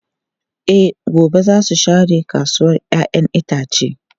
E, gobe za su share kasuwar ‘ya’yan itace.